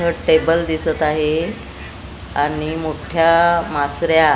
इथं टेबल दिसत आहे आणि मोठ्या मासर्या--